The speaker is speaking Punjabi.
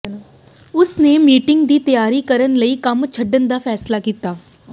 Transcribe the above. ਉਸ ਨੇ ਮੀਟਿੰਗ ਦੀ ਤਿਆਰੀ ਕਰਨ ਲਈ ਕੰਮ ਛੱਡਣ ਦਾ ਫੈਸਲਾ ਕੀਤਾ